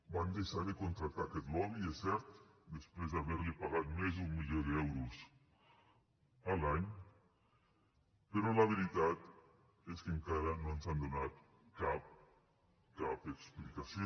van deixar de contractar aquest lobby és cert després d’haver li pagat més d’un milió d’euros l’any però la veritat és que encara no ens han donat cap explicació